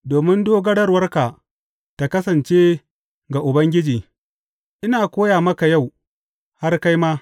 Domin dogarawarka ta kasance ga Ubangiji, ina koya maka yau, har kai ma.